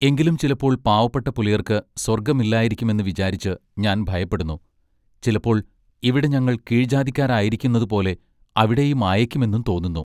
എങ്കിലും ചിലപ്പോൾ പാവപ്പെട്ട പുലയർക്ക് സ്വർഗ്ഗം ഇല്ലായിരിക്കും എന്ന് വിചാരിച്ച് ഞാൻ ഭയപ്പെടുന്നു ചിലപ്പോൾ ഇവിടെ ഞങ്ങൾ കീഴ് ജാതിക്കാരായിരിക്കുന്നതു പോലെ അവിടെയും ആയേക്കുമെന്നും തോന്നുന്നു.